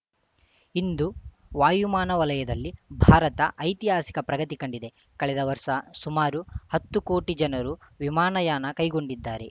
ಇಂದು ವಾಯುಮಾನ ವಲಯದಲ್ಲಿ ಭಾರತ ಐತಿಹಾಸಿಕ ಪ್ರಗತಿ ಕಂಡಿದೆ ಕಳೆದ ವರ್ಷ ಸುಮಾರು ಹತ್ತು ಕೋಟಿ ಜನರು ವಿಮಾನಯಾನ ಕೈಗೊಂಡಿದ್ದಾರೆ